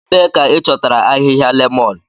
Ebee ka ị chọtara ahịhịa lemon?